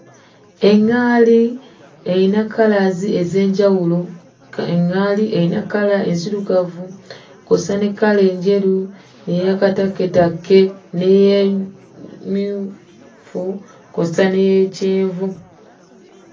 Eŋŋaali erina 'colors' ez'enjawulo. Eŋŋaali erina kkala enzirugavu kw'ossa ne kkala enjeru n'eya katakketakke n'emmyufu, kw'ossa n'ey'ekyenvu.